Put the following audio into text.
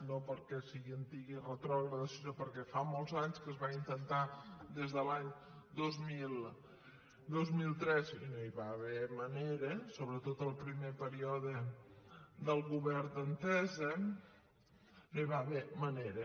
no perquè sigui antiga i retrògrada sinó perquè fa molts anys que es va intentar des de l’any dos mil tres i no hi va haver manera sobretot en el primer període del govern d’entesa no hi va haver manera